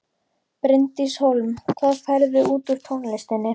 Bryndís Hólm: Hvað færðu út úr tónlistinni?